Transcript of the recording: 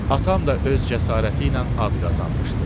Atam da öz cəsarəti ilə ad qazanmışdı.